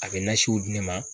A be nasiw di ne ma